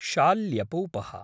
शाल्यपूपः